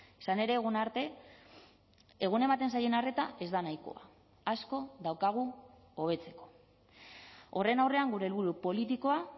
izan ere egun arte egun ematen zaien arreta ez da nahikoa asko daukagu hobetzeko horren aurrean gure helburu politikoa